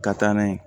Ka taa n'a ye